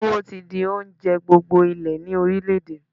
Túwó ti di oúnjẹ gbogbo ilé ni orílẹ̀ èdè.